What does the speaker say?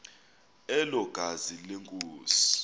elo gazi lenkosi